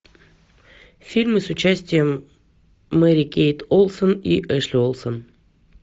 фильмы с участием мэри кейт олсен и эшли олсен